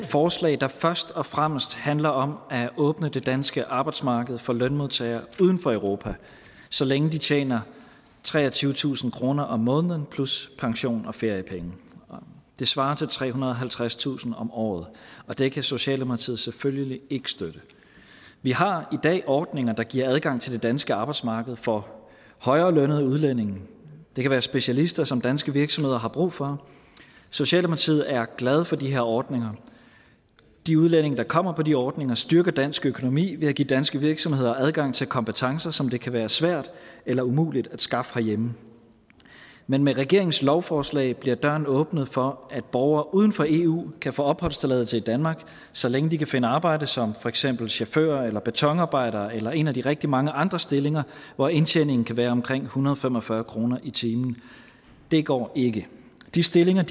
forslag der først og fremmest handler om at åbne det danske arbejdsmarked for lønmodtagere uden for europa så længe de tjener treogtyvetusind kroner om måneden plus pension og feriepenge det svarer til trehundrede og halvtredstusind kroner om året det kan socialdemokratiet selvfølgelig ikke støtte vi har i dag ordninger der giver adgang til det danske arbejdsmarked for højere lønnede udlændinge det kan være specialister som danske virksomheder har brug for socialdemokratiet er glad for de her ordninger de udlændinge der kommer på de ordninger styrker dansk økonomi ved at give danske virksomheder adgang til kompetencer som det kan være svært eller umuligt at skaffe herhjemme men med regeringens lovforslag bliver døren åbnet for at borgere uden for eu kan få opholdstilladelse i danmark så længe de kan finde arbejde som for eksempel chauffører eller betonarbejdere eller en af de rigtig mange andre stillinger hvor indtjeningen kan være omkring en hundrede og fem og fyrre kroner i timen det går ikke de stillinger